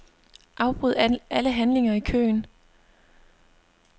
Afbryd alle handlinger i køen.